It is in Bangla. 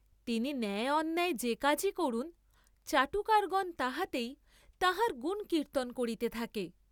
তিনি ন্যায়ান্যায় যে কাজই করুন, চাটুকারগণ তাহাতেই তাঁহার গুণ কীর্ত্তন করিতে থাকে।